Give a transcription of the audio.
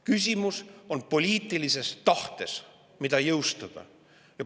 Küsimus on poliitilises tahtes, mida jõustada.